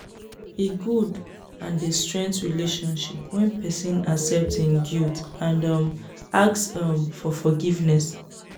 e good and dey strength relationship when pesin accept im guilty and um ask um for forgiveness.